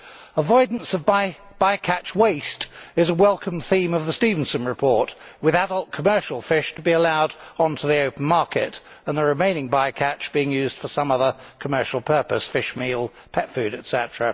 Avoidance of by catch waste is a welcome theme of the Stevenson report, with adult commercial fish to be allowed onto the open market and the remaining by catch being used for some other commercial purpose fish meal, pet food, etc.